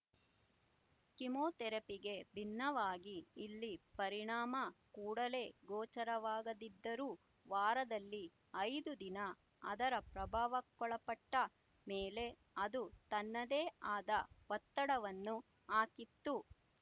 ಕಿಮೋಥೆರಪಿಗೆ ಭಿನ್ನವಾಗಿ ಇಲ್ಲಿ ಪರಿಣಾಮ ಕೂಡಲೇ ಗೋಚರವಾಗದಿದ್ದರೂ ವಾರದಲ್ಲಿ ಐದು ದಿನ ಅದರ ಪ್ರಭಾವಕ್ಕೊಳಪಟ್ಟ ಮೇಲೆ ಅದು ತನ್ನದೇ ಆದ ಒತ್ತಡವನ್ನು ಹಾಕಿತು